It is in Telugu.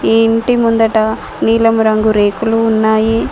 ఈ ఇంటి ముందట నీలం రంగు రేకులు ఉన్నాయి